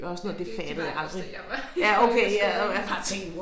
Ja det det gjorde jeg også da jeg var i folkeskolen